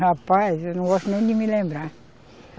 Rapaz, eu não gosto nem de me lembrar.